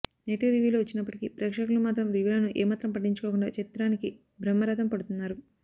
negative రివ్యూలు వచ్చినప్పటికీ ప్రేక్షకులు మాత్రం రివ్యూలను ఏమాత్రం పట్టించుకోకుండా చిత్రానికి బ్రహ్మ రథంపడుతున్నారు